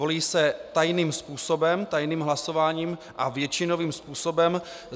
Volí se tajným způsobem, tajným hlasováním a většinovým způsobem.